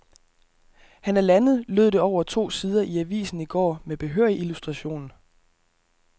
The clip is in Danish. Han er landet, lød det over to sider i avisen i går med behørig illustration.